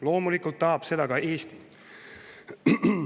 Loomulikult tahab seda ka Eesti.